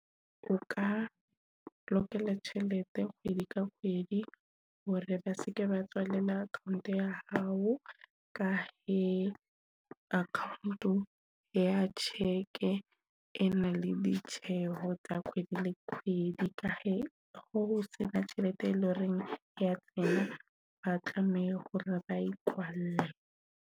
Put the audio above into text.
O ka lokela tjhelete kgwedi ka kgwedi hore ba seke ba tswalela account ya hao ka e account ya check, e e na le ditjeho tsa kgwedi le kgwedi ka ho sena tjhelete e leng horeng ya tsena, ba tlameha hore ba e kwale.